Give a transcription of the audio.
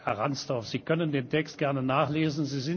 Herr Ransdorf, Sie können den Text gerne nachlesen.